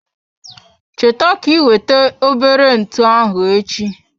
Cheta ka iweta obere ntụ ahụ echi.